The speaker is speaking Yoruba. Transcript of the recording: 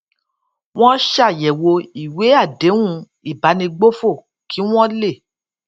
wón ṣàyèwò ìwé àdéhùn ìbánigbófò kí wón lè